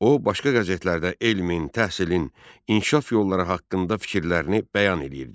O başqa qəzetlərdə elmin, təhsilin, inkişaf yolları haqqında fikirlərini bəyan eləyirdi.